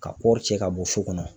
Ka kɔɔri cɛ ka bɔ so kɔnɔ.